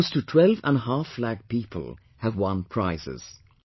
Close to 12 and half lakh people have won prizes